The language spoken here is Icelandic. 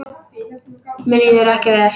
Mér líður ekki vel.